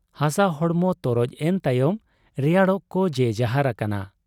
ᱦᱟᱥᱟ ᱦᱚᱲᱢᱚ ᱛᱚᱨᱚᱡ ᱮᱱ ᱛᱟᱭᱚᱢ ᱨᱮᱭᱟᱲᱚᱜ ᱠᱚ ᱡᱮᱡᱟᱦᱟᱨ ᱟᱠᱟᱱᱟ ᱾